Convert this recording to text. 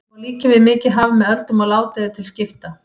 Henni má líkja við mikið haf með öldum og ládeyðu til skipta.